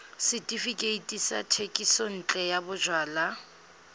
setefikeiti sa thekisontle ya bojalwa